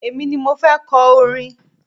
Èmi ni mo fẹ́ kọ orin.